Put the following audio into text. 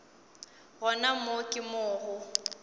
gona moo ke mo go